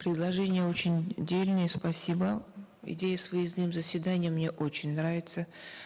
предложения очень дельные спасибо идея с выездным заседанием мне очень нравится